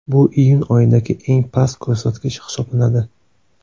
Bu iyun oyidagi eng past ko‘rsatkich hisoblanadi.